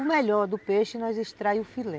O melhor do peixe nós extrai o filé.